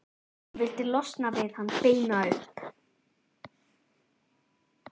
Hann vildi losna við hann, beina upp